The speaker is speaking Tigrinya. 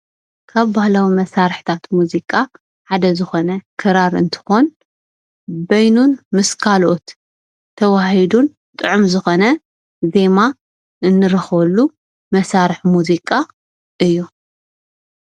ካብ ባህላዊ መሳርሕታት ሙዚቃ ሓደ ዝኮነ ክራር እንትኮን በይኑን ምስ ካልኦት ተዋሃሂዱ ጥዑም ዝኮነ ዜማ እንረክበሉ መሳርሒ ሙዚቃ እዩ::